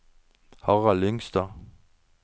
Harald Lyngstad